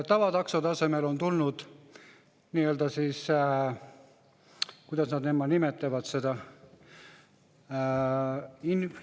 Tavataksode asemele on tulnud nii-öelda – kuidas nad nimetavad seda?